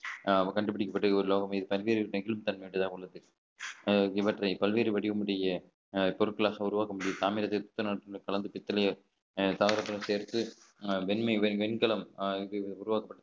அஹ் கண்டுபிடிக்கப்பட்டது ஒரு லோகம் இது பல்வேறு நெகிழும் தன்மை கொண்டதாக உள்ளது அஹ் இவற்றை பல்வேறு வடிவமுடைய அஹ் பொருட்களாக உருவாக்க முடியும் தாமிரபரணி தாவரத்துடன் சேர்த்து அஹ் வெண்மை வெண்கலம் அஹ் இது உருவாக்கப்பட்ட